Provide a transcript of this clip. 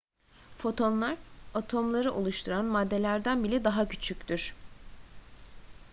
fotonlar atomları oluşturan maddelerden bile daha küçüktür